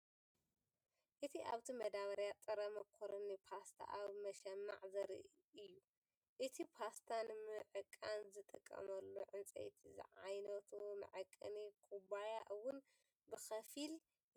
እቲ ኣብቲ መዳበርያ ጥረ ማካሮኒ ፓስታ ኣብ መሸማዕ ዘርኢ እዩ። ነቲ ፓስታ ንምዕቃን ዝጥቀመሉ ዕንጨይቲ ዝዓይነቱ መዐቀኒ ኩባያ እውን ብኸፊል ይርአ።